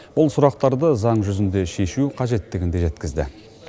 бұл сұрақтарды заң жүзінде шешу қажеттігін де жеткізді